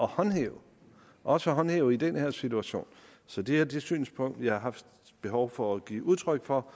håndhæve også at håndhæve i den her situation så det er det synspunkt jeg har haft behov for at give udtryk for